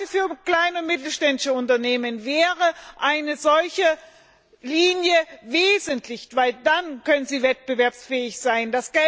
Gerade für kleine mittelständische Unternehmen wäre eine solche Linie wesentlich, denn dann können sie wettbewerbsfähig sein.